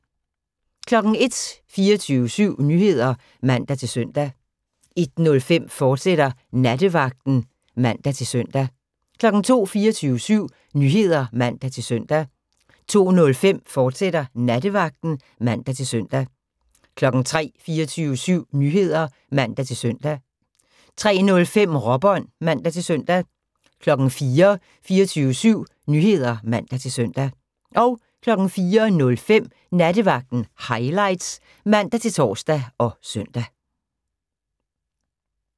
01:00: 24syv Nyheder (man-søn) 01:05: Nattevagten, fortsat (man-søn) 02:00: 24syv Nyheder (man-søn) 02:05: Nattevagten, fortsat (man-søn) 03:00: 24syv Nyheder (man-søn) 03:05: Råbånd (man-søn) 04:00: 24syv Nyheder (man-søn) 04:05: Nattevagten Highlights (man-tor og søn)